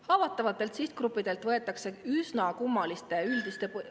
Haavatavatelt sihtgruppidelt võetakse üsna kummaliste üldiste ...